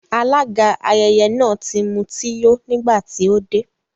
Alága ayẹyẹ náà ti mutí yó nígbà tí ó dé